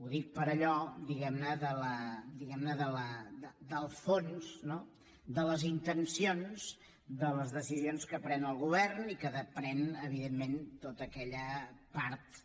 ho dic per allò del fons de les intencions de les decisions que pren el govern i que pren evidentment tota aquella part